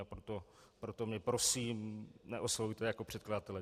A proto mě, prosím, neoslovujte jako předkladatele.